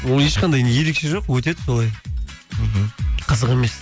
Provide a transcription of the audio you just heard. ол ешқандай ерекше жоқ өтеді солай мхм қызық емес